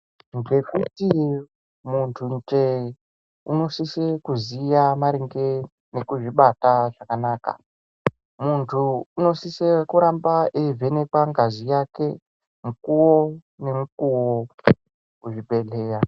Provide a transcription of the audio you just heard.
Ngekuti mundunje unosisa kuziya maringe ngekuzvibata zvakanaka ,muntu unosisa kuvhenekwa mukuwo ngemukuwo kuzvibhedhlera.